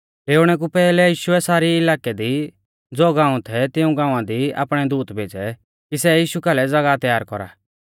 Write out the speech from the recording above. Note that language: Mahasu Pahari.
डेऊणै कु पैहलै यीशुऐ सामरी इलाकै दी ज़ो गाऊं थै तिऊं गाँवा दी आपणै दूत भेज़ै कि सै यीशु कालै ज़ागाह तयार कौरा